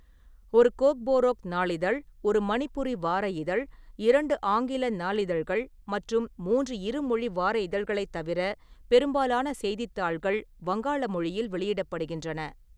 ஒரு கோக்போரோக் நாளிதழ், ஒரு மணிப்புரி வார இதழ், இரண்டு ஆங்கில நாளிதழ்கள் மற்றும் மூன்று இருமொழி வார இதழ்களைத் தவிர பெரும்பாலான செய்தித்தாள்கள் வங்காள மொழியில் வெளியிடப்படுகின்றன.